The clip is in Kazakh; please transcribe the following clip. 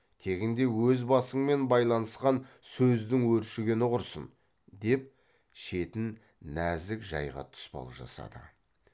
тегінде өз басыңмен байланысқан сөздің өршігені құрсын деп шетін нәзік жайға тұспал жасады